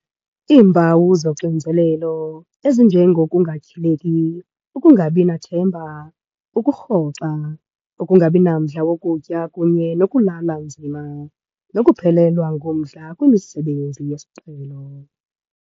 Iimpawu zoxinzelelo, ezinje ngokungatyhileki, ukungabinathemba, ukurhoxa, ukungabinamdla wokutya kunye nokulala nzima, nokuphelelwa ngumdla kwimisebenzi yesiqhelo.